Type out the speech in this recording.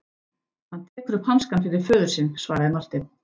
Hann tekur upp hanskann fyrir föður sinn, svaraði Marteinn.